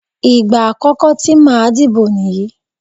Ìgbà àkọ́kọ́ tí màá dìbò nìyí.